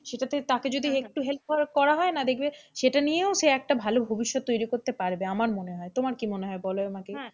সেটাকে তাকে যদি একটু help করা হয় না, দেখবে সেটা নিয়েও সে একটা ভালো ভবিষ্যৎ তৈরি করতে পারবে আমার মনে হয়, তোমার কি মনে হয়, বলো আমাকে,